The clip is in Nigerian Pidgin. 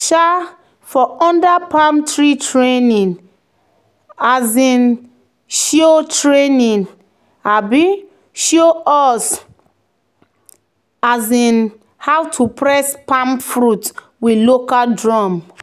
um "for under palm tree training um show training um show us um how to press palm fruit with local drum."